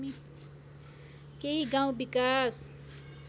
केही गाउँ विकास